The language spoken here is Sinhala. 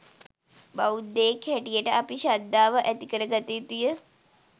බෞධයෙක් හැටියට අපි ශද්ධාව ඇතිකරගත යුතුය.